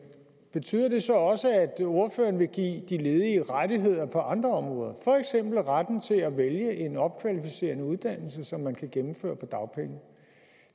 betyder det så også at ordføreren vil give de ledige rettigheder på andre områder for eksempel retten til at vælge en opkvalificerende uddannelse som man kan gennemføre på dagpenge